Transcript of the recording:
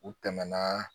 U tɛmɛnaa